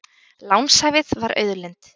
Lánshæfið var auðlind